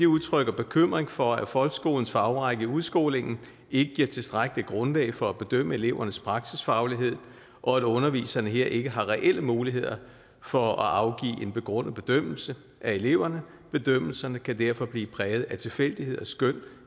udtrykker bekymring for at folkeskolens fagrække i udskolingen ikke giver tilstrækkeligt grundlag for at bedømme elevernes praksisfaglighed og at underviserne her ikke har reelle muligheder for at afgive en begrundet bedømmelse af eleverne bedømmelserne kan derfor blive præget af tilfældigheder skøn